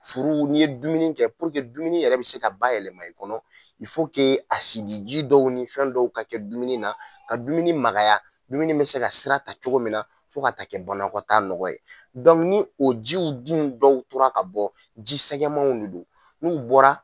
Furu ni ye dumuni kɛ dumuni yɛrɛ bɛ se ka bayɛlɛma i kɔnɔ asidi ji dɔw ni fɛn dɔw ka kɛ dumuni na ka dumuni magaya dumuni bɛ se ka sira ta cogo min na fo ka ta kɛ bɔnkɔtaa nɔgɔya ye ni o jiw dun dɔw tora ka bɔ jisɛgɛmanw de don n' bɔra.